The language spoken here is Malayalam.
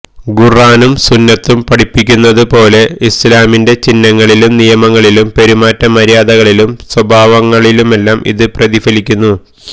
ഖുര്ആനും സുന്നത്തും പഠിപ്പിക്കുന്നതുപോലെ ഇസ്ലാമിന്റെ ചിഹ്നങ്ങളിലും നിയമങ്ങളിലും പെരുമാറ്റ മര്യാദകളിലും സ്വഭാവങ്ങളിലുമെല്ലാം ഇത് പ്രതിഫലിക്കുന്നു